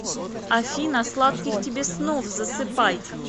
афина сладких тебе снов засыпай